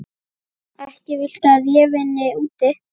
Ekki viltu að ég vinni úti.